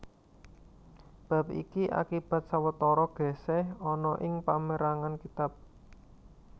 Bab iki akibat sawetara gèsèh ana ing pamérangan kitab